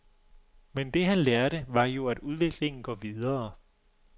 Men det, han lærte, var jo, at udviklingen går videre.